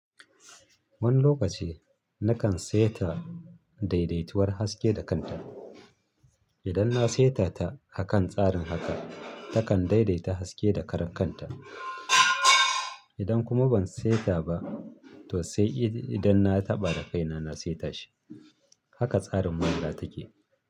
Wani lokaci nakan saita daidaituwar haske da kanta. Idan na saita ta akan tsarin haka, takan daidaita haske da karan kanta. Idan kuma ban saita ba, to sai idan na taɓa da kai na, na saita shi. Haka tsarin manhaja take.